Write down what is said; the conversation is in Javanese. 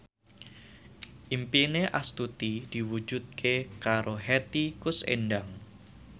impine Astuti diwujudke karo Hetty Koes Endang